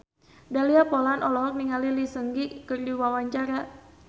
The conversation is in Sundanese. Dahlia Poland olohok ningali Lee Seung Gi keur diwawancara